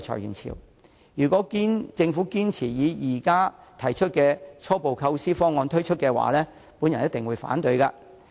因此，如果政府堅持推出現時提出的初步構思方案，我一定會反對。